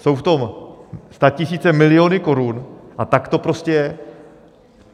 Jsou v tom statisíce, miliony korun, a tak to prostě je.